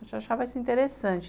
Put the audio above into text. Eu já achava isso interessante.